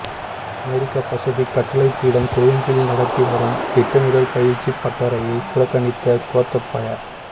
அமெரிக்க Pacific கட்டளைப் பீடம் கொழும்பில் நடத்தி வரும் திட்டமிடல் பயிற்சிப் பட்டறையை புறக்கணித்த கோத்தபாய